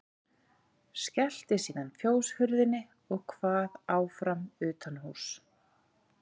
Skellti síðan fjóshurðinni og kvað áfram utanhúss.